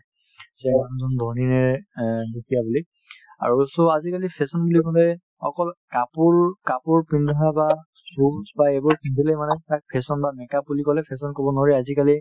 যে এই মানুহজন ধনী নে অ দুখীয়া বুলি আৰু so আজিকালি fashion বুলি ক'লে অকল কাপোৰ কাপোৰ পিন্ধা বা shoes বা এইবোৰ পিন্ধিলে মানে fashion বা make up বুলি ক'লে fashion বুলি ক'ব নোৱাৰি আজিকালি